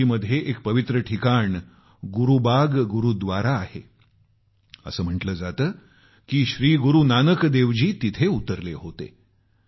काशीमध्ये एक पवित्र ठिकाण गुरूबाग गुरूद्वारा आहे असं म्हटलं जातं की श्री गुरूनानक देवजी तिथं उतरले होते